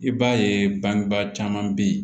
I b'a ye bangebaa caman be yen